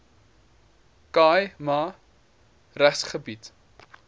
khai ma regsgebied